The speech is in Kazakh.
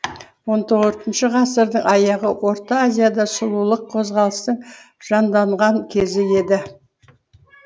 он төртінші ғасырдың аяғы орта азияда сұлулық қозғалыстың жанданған кезі еді